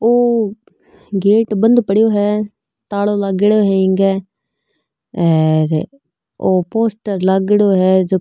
ओ gate बंद पड़यो है तालो लागेड़ो हेंगे और ओ पोस्टर लागेड़ो है जो --